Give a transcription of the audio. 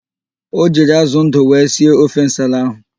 O jiri ázụ̀ ndụ wee sie ofe nsala ahụ.